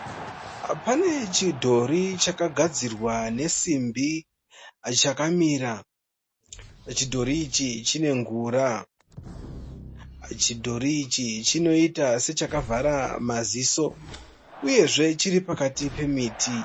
Pane chidhori chakagadzirwa nesimbi chakamira. Chidhori ichi chinengura. Chidhori ichi chinoita sechakavhara maziso uyezve chiri pakati pemiti.